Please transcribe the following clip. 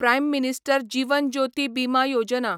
prime minister Jeevan Jyoti Bima Yojana